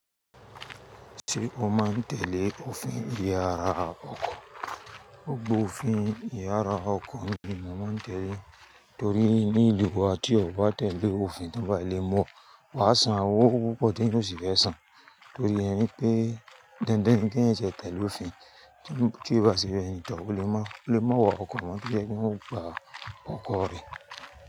Ṣé o máa ń tẹ̀lé òfin ìyára ọkọ̀? Gbogbo òfin ìyára ọkọ̀ ni mo màá ń tẹ̀lé, torí ní ìlú wa tí o bá tẹ̀lé òfin tí won ba ti lè mọ̀ mu o, wà á san owó púpọ̀ tí yóò sì fẹ́ san. Torí irú pé dándán kí ẹ̀eyan tẹ̀lé òfin tí kò bá sí ẹni tó ó lè má wọ ọkọ̀ mọ́ kí jẹ́ kí wọ́n gba ọkọ̀ rẹ.